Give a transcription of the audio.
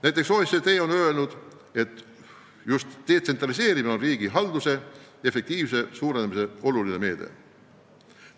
Näiteks OECD on öelnud, et just detsentraliseerimine on riigi halduse efektiivsuse suurenemise oluline meede.